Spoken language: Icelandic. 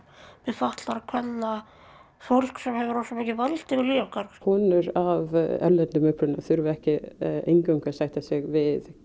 fatlaðra kvenna fólk sem hefur rosa mikið vald yfir lífi okkar konur af erlendum uppruna þurfa ekki eingöngu að sætta sig við